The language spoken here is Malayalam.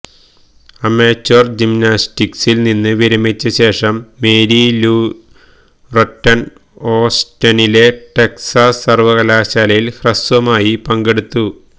അമേച്വർ ജിംനാസ്റ്റിക്സിൽ നിന്ന് വിരമിച്ച ശേഷം മേരി ലൂ ററ്റൺ ഓസ്റ്റിനിലെ ടെക്സാസ് സർവകലാശാലയിൽ ഹ്രസ്വമായി പങ്കെടുത്തു